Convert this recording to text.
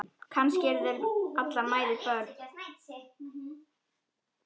Kannski eru allar mæður börn.